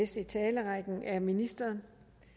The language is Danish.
i talerrækken er ministeren